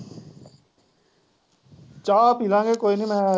ਚਾਹ ਪੀ ਲਾਂ ਗੇ ਕੋਈ ਨਹੀਂ ਮੈਂ